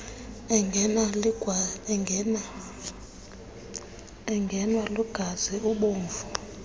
engenwa ligazi ubovu